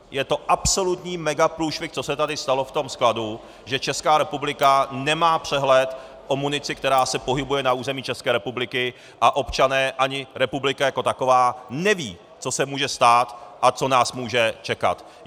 Je to absolutní megaprůšvih, co se tady stalo v tom skladu, že Česká republika nemá přehled o munici, která se pohybuje na území České republiky, a občané ani republika jako taková nevědí, co se může stát a co nás může čekat.